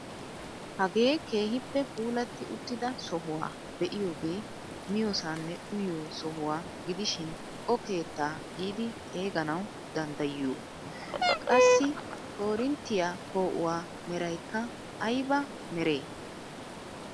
Hagee keehippe puulatti uttida sohuwaa be'iyoogee miyoosanne uyiyoo sohuwaa gidishin o keettaa giidi xeeganawu danddayiyoo? Qassi korinttiyaa poo"uwaa meraykka ayba meree?